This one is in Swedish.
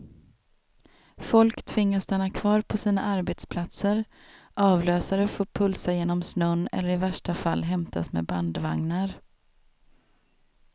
Folk tvingas stanna kvar på sina arbetsplatser, avlösare får pulsa genom snön eller i värsta fall hämtas med bandvagnar.